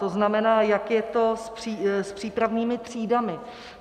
To znamená, jak je to s přípravnými třídami.